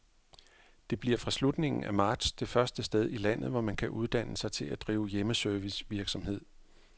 Det bliver fra slutningen af marts det første sted i landet, hvor man kan uddanne sig til at drive hjemmeservicevirksomhed.